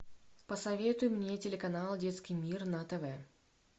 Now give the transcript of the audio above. посоветуй мне телеканал детский мир на тв